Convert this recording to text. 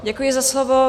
Děkuji za slovo.